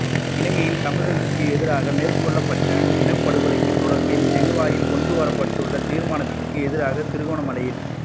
இலங்கையில் தமிழர்களுக்கு எதிராக மேற்கொள்ளப்பட்ட இனப்படுகொலைக்கு தொடர்பில் ஜெனீவாவில் கொண்டு வரப்பட்டுள்ள தீர்மானத்திற்கு எதிராக திருகோணமலையில்